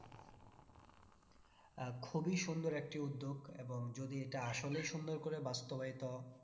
আহ খুবই সুন্দর একটি উদ্যোগ এবং যদি এটা আসলেই সুন্দর করে বাস্তবায়িত